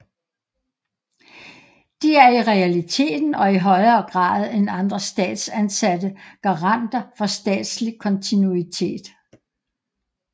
De er i realiteten og i højere grad end andre statsansatte garanter for statslig kontinuitet